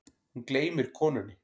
Hún gleymir konunni.